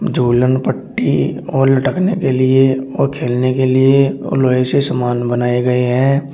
झूलन पट्टी और लटकने के लिए और खेलने के लिए और लोहे से सामान बनाए गए हैं।